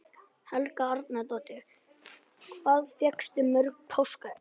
Helga Arnardóttir: Hvað fékkstu mörg páskaegg?